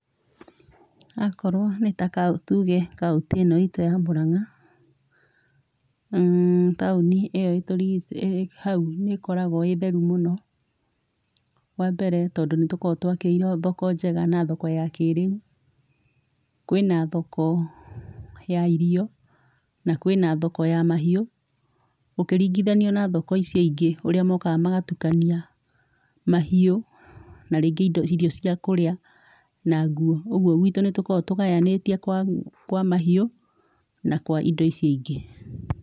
Akorwo nĩ ta kaũ, tuge kaũntĩ ĩĩno iitu ya Murang'a, mmmm taũni ĩyo ĩtũrigi...ĩĩ hau nĩĩkoragũo ĩĩ theru muno. Wa mbere tondũ nĩtũkoragũo twakĩirũo thoko njega na thoko ya kĩ rĩu. Kwĩ na thoko ya irio na kwĩna thoko ya mahiu, ũkĩringithania na thoko icio ingĩ ũrĩa mokaga magatukania mahiu na rĩngĩ indo, irio cia kũrĩa na nguo. Ũguo gwitũ nĩtũkoragũo tũgayanĩtie kwa mahiu na kwa indo icio ingĩ.